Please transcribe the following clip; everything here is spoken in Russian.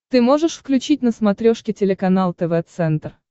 ты можешь включить на смотрешке телеканал тв центр